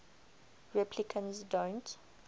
replicants don't